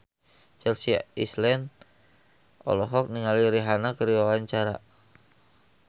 Chelsea Islan olohok ningali Rihanna keur diwawancara